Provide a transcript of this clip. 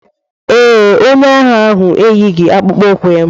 Ee, onye agha ahụ eyighị akpụkpọ ụkwụ ya.